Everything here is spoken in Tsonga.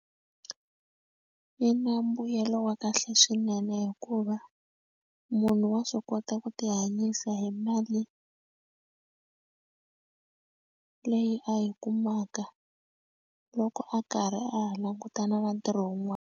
Yi na mbuyelo wa kahle swinene hikuva munhu wa swi kota ku ti hanyisa hi mali leyi a yi kumaka loko a karhi a ha langutana na ntirho .